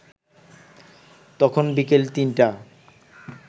তখন বিকেল ৩টা